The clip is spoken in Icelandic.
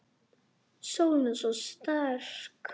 Sólin er svo sterk.